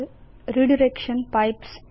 redirection pipes